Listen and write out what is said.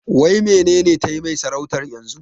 Waenenetmai sarautar yanzu?